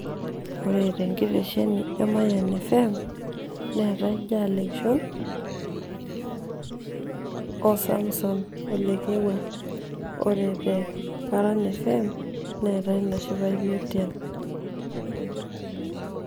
Ore tenkireshenj emayian fm neetai Jaal Lekishon oo Samson oo Lekewua. Ore te Paran fm neetai Nashipai Metian.